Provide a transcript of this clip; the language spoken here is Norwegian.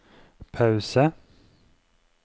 pause